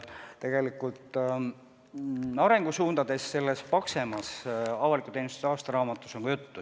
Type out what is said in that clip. Tegelikult arengusuundadest selles paksemas avaliku teenistuse aastaraamatus on ka juttu.